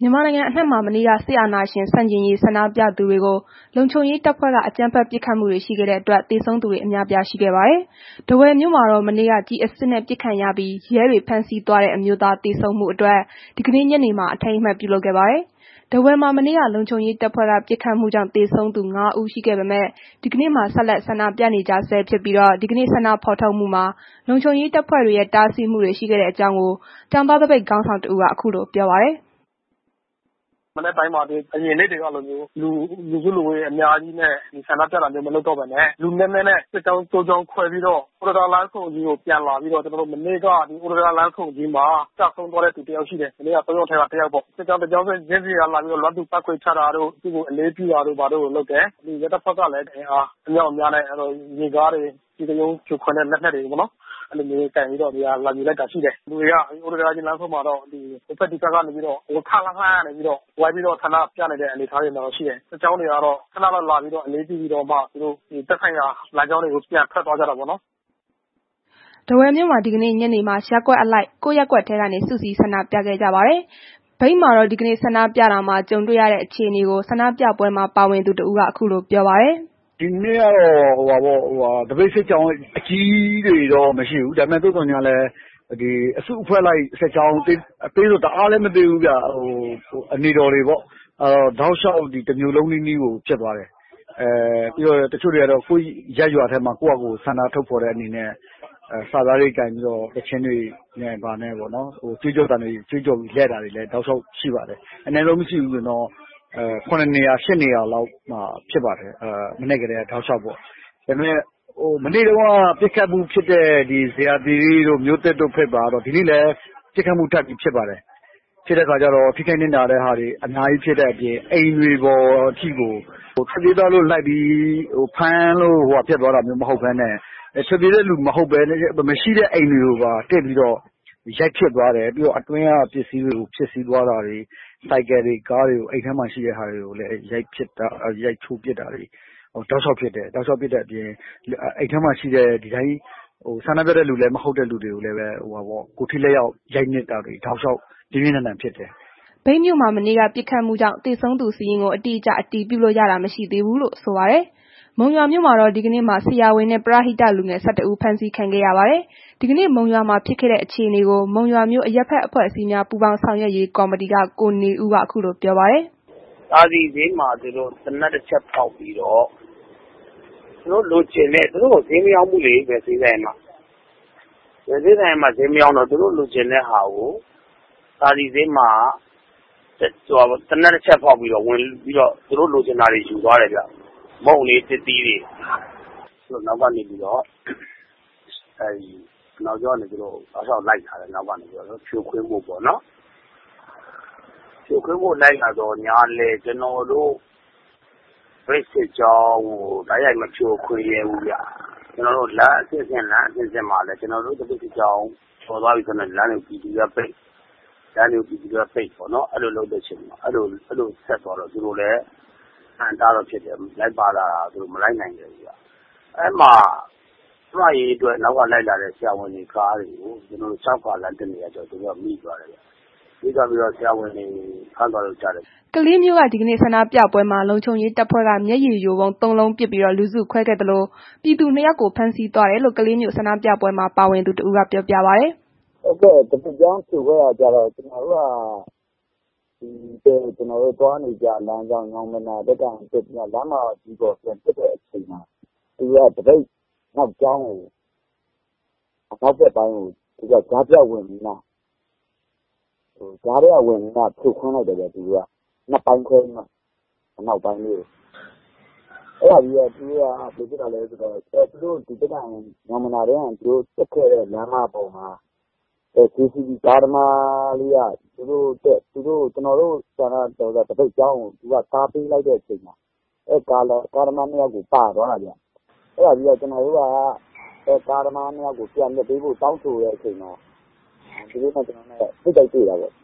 မြန်မာနိုင်ငံအနှံ့မှာ မနေ့က စစ်အာဏာရှင်ဆန့်ကျင်ရေး ဆန္ဒပြသူတွေကို လုံခြုံရေးတပ်ဖွဲ့က အကြမ်းဖက် ပစ်ခတ်မှုတွေရှိခဲ့တဲ့အတွက် သေဆုံးမှုအများအပြား ရှိခဲ့တာပါ။ ထားဝယ်မြို့မှာတော့ မနေ့က ကျည်အစစ်နဲ့ ပစ်ခတ်ခံရပြီး ရဲတွေဖမ်းဆီးသွားတဲ့ အမျိုးသား သေဆုံးမှုအတွက် ဒီကနေ့ ညနေမှာ အထိမ်းအမှတ်ပြုလုပ်ခဲ့ပါတယ်။ ထားဝယ်မှာ မနေ့က လုံခြုံရေးတပ်ဖွဲ့က ပစ်ခတ်မှုကြောင့် သေဆုံးသူ ငါး ဦးရှိခဲ့ပေမဲ့ ဒီကနေ့မှာ ဆက်လက်ဆန္ဒပြနေကြဆဲဖြစ်ပြီးတော့ ဒီကနေ့ဆန္ဒဖော်ထုတ်မှုမှာ လုံခြုံရေးတပ်ဖွဲ့တွေရဲ့ တားဆီးမှုတွေ ရှိခဲ့တဲ့အကြောင်း ကျောင်းသားသပိတ်ခေါင်းဆောင်တဦးက ခုလိုပြောပါတယ်။ “မနက်ပိုင်းထဲမှာ အရင်နေ့တွေကလိုမျိုး လူစုလူဝေးအများကြီးနဲ့ ဆန္ဒပြတာမျိုး မလုပ်တော့ဘဲနဲ့ လူနည်းနည်းနဲ့ စစ်ကြောင်း သုံးကြောင်းခွဲပြီးတော့ ဥတ္တံတားလမ်းဆုံအနီးကိုပြန်လာပြီးတော့ ကျနော်တို့ မနေ့က ဥတ္တံတားလမ်းဆုံအနီးမှာ ကျဆုံးသွားတဲ့ လူတယောက်ရှိတယ်။ မနေ့က သုံး ယောက်ထဲက တယောက်ပေါ့။ စစ်ကြောင်း တကြောင်းချင်းစီက လာ ပြီးတော့ လွမ်းသူပန်းခွေချတာတို့ သူ့ကို အလေးပြုတာတို့လုပ်တယ်။ ရဲတပ်ဖွဲ့ကလည်း အင်အားအမြောက်အများနဲ့ ရေကားတွေ ကျည်တလုံးဖြိုခွဲတဲ့လက်နက်တွေပေါ့နော်။ အဲဒီလိုမျိုးကိုင်ပြီးတော့ နေရာလာယူလိုက်တာ ရှိတယ်။ လူတွေက ဥတ္တံတားကြီးလမ်းဆုံမှာတော့ ဟိုဘက်၊ ဒီဘက်ကနေပြီးတော့ ခပ်လှမ်းလှမ်းကနေပြီးတော့ ဝိုင်းပြီးတော့ ဆန္ဒပြနေတဲ့ အနေအထားတော့ ရှိတယ်။ စစ်ကြောင်းတွေကတော့ ခဏလောက်လာပြီးတော့ အလေးပြုပြီးတော့မှ သူတို့သက်ဆိုင်ရာ လမ်းကြောင်းတွေကို ပြန်ထွက်သွားကြတာပေါ့နော်။” ထားဝယ်မြို့မှာ ဒီကနေ့ညနေမှာ ရပ်ကွက်အလိုက် ကိုယ်ရပ်ကွက်ထဲကနေ စုစည်း ဆန္ဒပြခဲ့ကြပါတယ်။ မြိတ်မြို့မှာတော့ ဒီကနေ ဆန္ဒပြတာမှာ ကြုံတွေရတဲ့ အခြေအနေကို ဆန္ဒပြပွဲမှာ ပါဝင်သူတစ်ဦးက ခုလိုပြောပါတယ်။ “ဒီနေ့က သပိတ်စစ်ကြောင်း အကြီးကြီးတွေတော့ မရှိဘူး။ သို့သော်ငြားလည်း အစုအဖွဲ့လိုက် အနေတော်စစ်ကြောင်းတွေပေါ့... တောက်လျှောက် ဒီတစ်မြို့လုံးနီးနီးကို ဖြစ်သွားတယ်။ တချို့တွေကတော့ ကိုယ်ရပ်ရွာထဲမှာ ကိုယ့်ဟာကိုယ် ဆန္ဒထုတ်ဖော်တဲ့ အနေနဲ့ စာသားတွေ ကိုင်ပြီးတော့ သီချင်းတွေနဲ့ ဘာနဲ့ပေါ့နော်။ ကြွေးကျော်သံတွေ အော်ပြီးတော့ တောက်လျှောက် လှည့်တာတွေလည်း ရှိပါတယ်။ အနည်းဆုံးမရှိဘူးဆိုရင်တောင် ၇ နေရာ၊ ၈ နေရာလောက်ရှိပါတယ်။ မနက်ကတည်းက တောက်လျှောက်ပေါ့။ မနေ့က ပစ်ခတ်မှုဖြစ်တဲ့ ဇေယျာသီရိတို့၊ မြို့သစ်တို့ဘက်မှာတော့ ဒီနေ့လည်း ပစ်ခတ်မှု ထပ်ဖြစ်ပါတယ်။ ပစ်ခတ်မှုထပ်ဖြစ်တော့ ထိခိုက်နစ်နာမှုတွေ အများကြီး ထပ်ဖြစ်တဲ့အပြင် အိမ်တွေပေါ်ထိကို ထွက်ပြေးသွားလို့ လိုက်ပြီး ဖမ်းတာမျိုးမဟုတ်ဘဲနဲ့ ထွက်ပြေးတဲ့သူ မရှိတဲ့ အိမ်တွေကိုပါ... တက်ပြီးတော့ ရိုက်နှက်သွားတယ်။ ပြီးတော့ အတွင်းက ပစ္စည်းတွေကို ဖျက်ဆီးသွားတာတွေ၊ ဆိုင်ကယ်တွေ၊ ကားတွေ အိမ်ထဲမှာရှိတဲ့ ပစ္စည်းတွေကိုလည် ရိုက်ချိုးဖျက်ဆီးတာတွေ တောက်လျှောက်ဖြစ်တဲ့အပြင် အိမ်ထဲမှာ ဒီတိုင်း ဆန္ဒပြသူ မဟုတ်တဲ့သူတွေကိုလည်း ကိုယ်ထိလက်ရောက် ရိုက်နှက်တာတွေ ပြင်းပြင်းထန်ထန် ဖြစ်တယ်။” မြိတ်မြို့မှာ မနေ့က ပစ်ခတ်မှုကြောင့် သေဆုံးသူစာရင်းကို အတိအကျ အတည်ပြုလို့ရတာမရှိသေးဘူးလို့ ဆိုပါတယ်။ မုံရွာမြို့မှာတော့ ဒီကနေ့မှာ ဆရာဝန်နဲ့ ပရဟိတ လူငယ် ၁၁ ဦး ဖမ်းဆီးခံခဲ့ရပါတယ်။ ဒီကနေ့ မုံရွာမှာဖြစ်ခဲ့တဲ့ အခြေအနေကို မုံရွာမြို့ အရပ်ဘက် အဖွဲ့အစည်းများ ပူးပေါင်း ဆောင်ရွက်ရေး ကော်မတီက ကိုနေဦးက ခုလိုပြောပါတယ်။ “သာစည်ဈေးမှာ သူတို့ သေနတ်တစ်ချက်ဖောက်ပြီးတော့ သူတို့ လိုချင်တာတွေ၊ သူတို့ကို ဈေးမရောင်းဘူးလေ။ ဘယ်ဈေးဆိုင်ကမှ ဘယ်ဈေးဆိုင်ကမှ မရောင်းတော့ သူတို့လိုချင်တာကို သာစည်ဈေးမှာ သေနတ်တစ်ချက်ဖောက်ဝင်လုပြီးတော့ သူတို့လိုချင်တာတွေယူသွားတယ်ဗျ။ မုန့်တွေ၊ သစ်သီးတွေ။ သူတို့က သပိတ်စစ်ကြောင်းနောက်ကနေပြီးတော့ တောက်လျှောက်လိုက်လာတယ်။ ဖြိုခွင်းဖို့ပေါ့နော်... ဖြိုခွင်းဖို့ လိုက်လာပေမဲ့ ကျနော်တို့ သပိတ်စစ်ကြောင်းကို တိုက်ရိုက်မဖြိုခွင်းရဲဘူးဗျ။ လမ်းအဆင့်ဆင့်မှာလည်း ကျနော်တို့ သပိတ်ကြောင်းကျော်လာပြီဆိုရင် ပြည်သူတွေက လမ်းတွေကို ပိတ်ပေါ့နော်။ အဲ့ဒီလိုဆက်သွားတော့ သူတို့ကိုလည်း အဟန့်အတားဖြစ်တာ ဆက်မလိုက်နိုင်တော့ဘူး။ အဲ့ဒီမှာကျန်းမာရေးအတွက် လိုက်လာတဲ့ ဆရာဝန်တွေရဲ့ ကားတွေကို သူတို့က ကျောက္ကာလမ်းတစ်နေမှာ မိသွားတယ်။ မိတော့ ဆရာဝန်တွေကို ဖမ်းသွားတယ်လို့ကြားတယ်။” ကလေးမြို့က ဒီကနေ့ ဆန္ဒပြပွဲမှာ လုံခြုံရေးတပ်ဖွဲ့က မျက်ရည်ယိုဗုံးသုံးလုံး ပစ်ပြီး လူစုခွဲခဲ့သလို ပြည်သူနှစ်ယောက်ကို ဖမ်းဆီးသွားတယ်လို့ ကလေးမြို့ ဆန္ဒပြပွဲမှာ ပါဝင်သူတစ်ဦးက ပြောပြပါတယ်။ “သပိတ်ကြောင်း ဖြိုခွဲတာကျတော့ ကျနော်တို့ သွားနေကျ လမ်းကြောင်း ညောင်ပင်သာလမ်းကနေ လမ်းမကြီးပေါ်တက်လာတဲ့အချိန် သူတို့က သပိတ်ကြောင်းကို ကြားဖြတ်ဝင်ပြီးမှ အနောက်ပိုင်းလေးကို ဖြိုခွင်းလိုက်တယ်ဗျ။ အဲ့ဒါပြီးတော့ သူတို့က ကျနော်တို့ တက်ခဲ့တဲ့ ညောင်ပင်သာ လမ်းမပေါ်မှာ ပြည်သူ ကားသမားလေးက ကျနော်တို့ သပိတ်စစ်ကြောင်းကို သူ့ကားနဲ့ ကာပေးလိုက်တဲ့ အချိန်မှာ သူတို့ ကားသမားနှစ်ယောက်က ပါသွားတာဗျ ။ အဲ့ဒီတော့ ကျနော်တို့က အဲဒီ ကားသမားနှစ်ယောက်ကို ပြန်လွှတ်ပေးဖို့ တောင်းဆိုတဲ့ အချိန်မှာ သူတို့နဲ့ ထိပ်တိုက်တွေ့တာပေါ့။”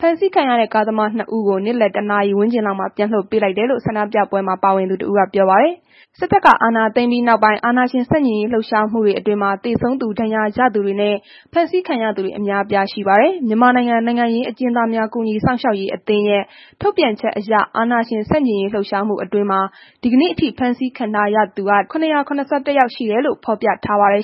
ဖမ်းဆီးခံရတဲ့ ကားသမားနှစ်ဦးကို နေ့လယ် ၁ နာရီဝန်းကျင်လောက်မှာပြန်လွှတ်ပေးလိုက်တယ်လို့ ဆန္ဒပြပွဲမှာ ပါဝင်သူတစ်ဦးက ပြောပါတယ်။ စစ်တပ်က အာဏာသိမ်းပြီးနောက်ပိုင်း အာဏာရှင် ဆန့်ကျင်ရေး လှုပ်ရှားမှုတွေအတွင်း သေဆုံးသူ ဒဏ်ရာရသူတွေနဲ့ ဖမ်းဆီးခံရသူတွေ အများအပြားရှိပါတယ်။ မြန်မာနိုင်ငံ နိုင်ငံရေး အကျဉ်း သားများကူညီ စောင့်ရှောက်ရေးအသင်းရဲ့ ထုတ်ပြန်ချက်အရ အာဏာရှင် ဆန့်ကျင်ရေးလှုပ်ရှားမှုအတွင်း ဒီကနေ့ အထိ ဖမ်းဆီးခံထားရသူ ၇၇၁ ယောက်ရှိတယ်လို့ ဖော်ပြထားပါတယ်